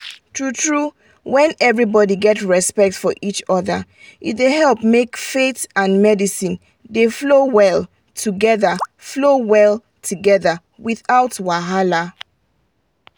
true true when everybody get respect for each other e da help make faith and medicine dey flow well together flow well together without wahala.